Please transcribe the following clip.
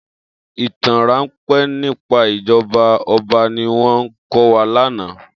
Itàn rànpé nipá ijòbá òbá niwòn kòwá làná